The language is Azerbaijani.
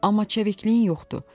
Amma çevikliyin yoxdur.